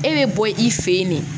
E bɛ bɔ i fɛ yen de